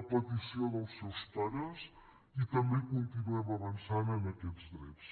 a petició dels seus pares i també continuem avançant en aquests drets